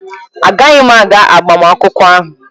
Agaghị m aga agbamakwụkwọ ahụ.